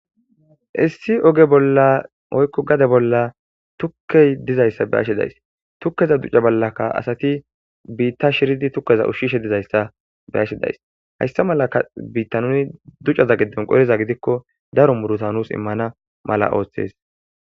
Issi ogge bolla woyi gadde bolla tukeyi dizayissa be'ashe dayusi.tukeza ducca bollaka assati bitta shiridi ushishe dizayisa beyashe dayisi hayisa mala bitta nu ducazani qolikko daro muruta nusi imana mala madesi